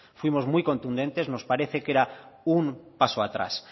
fuimos muy contundentes nos parece que era un paso atrás